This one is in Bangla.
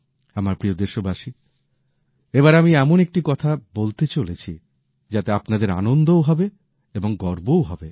আমার প্রিয় দেশবাসী এবার আমি এমন একটি কথা বলতে চলেছি যাতে আপনাদের আনন্দও হবে এবং গর্বও হবে